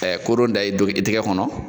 kodon da i don i tɛgɛ kɔnɔ